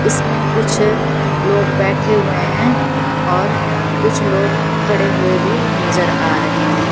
इसमें कुछ लोग बैठे हुए हैं और कुछ लोग खड़े हुए भी नजर आ रहे हैं।